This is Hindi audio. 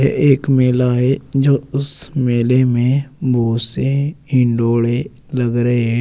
एक मेला है जो उस मेले में बहुत से हिंडोले लग रहे हैं।